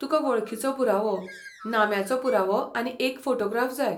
तुका वळखीचो पुरावो, नाम्याचो पुरावो आनी एक फोटोग्राफ जाय.